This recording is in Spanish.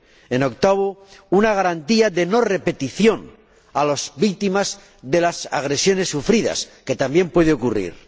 En octavo lugar, una garantía de no repetición para las víctimas de las agresiones sufridas, que también puede ocurrir.